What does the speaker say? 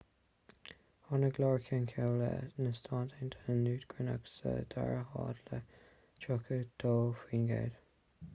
tháinig iar-cheann comhairle na stát aontaithe newt gingrich sa dara háit le 32 faoin gcéad